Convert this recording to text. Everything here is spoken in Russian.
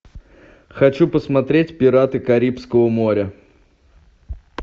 хочу посмотреть пираты карибского моря